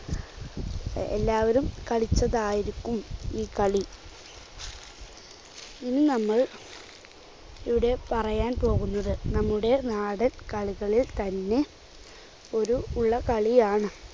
എഎല്ലാവരും കളിച്ചതായിരിക്കും ഈ കളി. ഇനി നമ്മൾ ഇവിടെ പറയാൻ പോകുന്നത് നമ്മുടെ നാടൻ കളികളിൽത്തന്നെ ഒരു ഉള്ള കളിയാണ്.